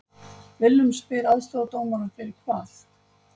Willum spyr aðstoðardómarann fyrir hvað????